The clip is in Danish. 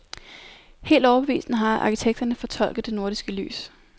Helt overbevisende har arkitekterne fortolket det nordiske lys.